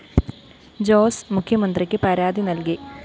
ജോസ് മുഖ്യമന്ത്രിക്ക് പരാതി നല്‍കി